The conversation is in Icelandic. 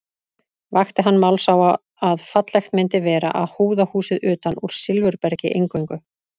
Vakti hann máls á að fallegt myndi vera að húða húsið utan úr silfurbergi eingöngu.